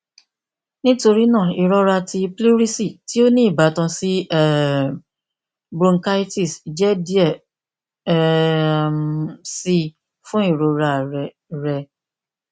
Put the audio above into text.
nitorina irọra ti pleurisy ti o ni ibatan si um bronchitis jẹ diẹ um sii fun irora rẹ rẹ